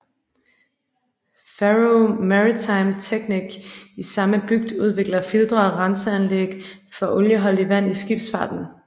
Faroe Maritime Technic i samme bygd udvikler filtre og renseanlæg for olieholdigt vand i skibsfarten